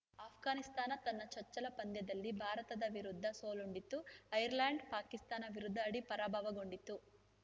ಆಷ್ಘಾನಿಸ್ತಾನ ತನ್ನ ಚಚ್ಚಲ ಪಂದ್ಯದಲ್ಲಿ ಭಾರತ ವಿರುದ್ಧ ಸೋಲುಂಡಿತ್ತು ಐರ್ಲೆಂಡ್‌ ಪಾಕಿಸ್ತಾನ ವಿರುದ್ಧ ಆಡಿ ಪರಾಭವಗೊಂಡಿತ್ತು